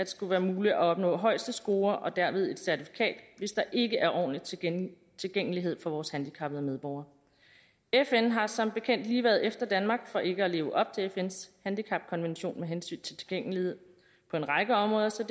skal være muligt at opnå højeste score og derved et certifikat hvis der ikke er ordentlig tilgængelighed for vores handicappede medborgere fn har som bekendt lige været efter danmark for ikke at leve op til fns handicapkonvention med hensyn til tilgængelighed på en række områder så